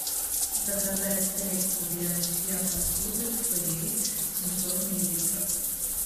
заказать средство для мытья посуды фейри семьсот миллилитров